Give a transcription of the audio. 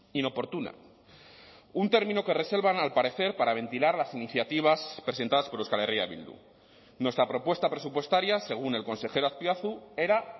inoportuna un término que reservan al parecer para ventilar las iniciativas presentadas por euskal herria bildu nuestra propuesta presupuestaria según el consejero azpiazu era